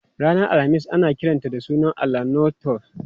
Ranar Alhamis ana kiranta da sunan allahn Norse Thor.